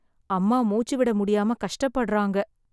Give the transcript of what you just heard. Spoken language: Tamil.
அம்மா மூச்சு விட முடியாம கஷ்டப்படறாங்க.